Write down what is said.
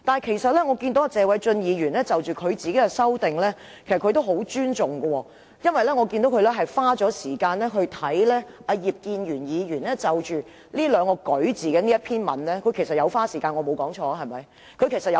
可是，謝偉俊議員其實也很尊重他提出的擬議修訂，因為我留意到他花時間看葉建源議員就"擧"和"舉"二字撰寫的文章，他確實有花時間，我沒說錯，對嗎？